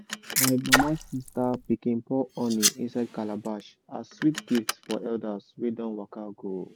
my mama sister pikin pour honey inside calabash as sweet gift for elders wey don waka go.